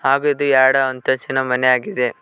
ಹಾಗೂ ಇದು ಯಾರ್ಡ್ಡು ಅಂತಸ್ತಿನ ಮನೆಯಾಗಿದೆ.